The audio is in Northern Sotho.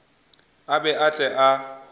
a be a tle a